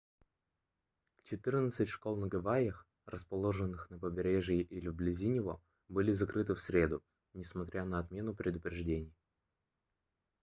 четырнадцать школ на гавайях расположенных на побережье или вблизи него были закрыты в среду несмотря на отмену предупреждений